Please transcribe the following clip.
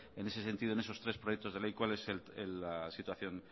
en ese sentido en esos tres proyectos de ley cuál es la situación